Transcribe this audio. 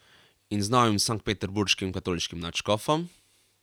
In z novim sanktpeterburškim katoliškim nadškofom?